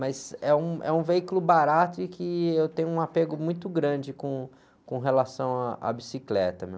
Mas é um, é um veículo barato e que eu tenho um apego muito grande com, com relação à, à bicicleta, viu?